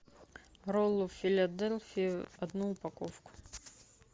роллы филадельфия одну упаковку